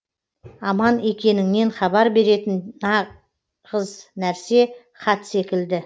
аман екеніңнен хабар беретін нағыз нәрсе хат секілді